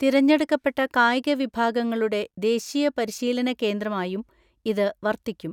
തിരഞ്ഞെടുക്കപ്പെട്ട കായിക വിഭാഗങ്ങളുടെ ദേശീയ പരിശീലന കേന്ദ്രമായും ഇത് വർത്തിക്കും.